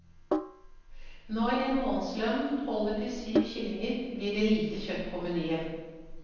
Når en månedslønn holder til syv kyllinger, blir det lite kjøtt på menyen.